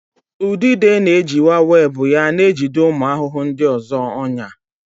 Udide na-ejiwa webụ ya na-ejide ụmụ ahụhụ ndị ọzọ ọnyà.